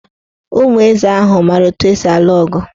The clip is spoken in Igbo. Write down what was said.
Ụmụ eze ahụ maara etu esi alụ ọgụ.